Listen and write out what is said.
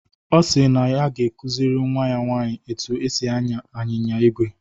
Ọ si na ọ ga-akụziri nnwa ya nwaanyị otú e si ànyá anyịnya ígwè